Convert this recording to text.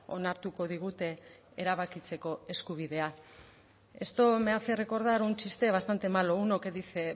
onartuko digute erabakitzeko eskubidea esto me hace recordar un chiste bastante malo uno que dice